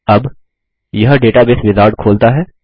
अब यह database wizard खोलता है